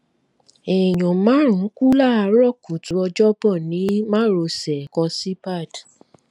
èèyàn márùn-ún kú láàárọ̀ kùtù ọjọ́bọ̀ ní márosẹ ẹkọ síbàd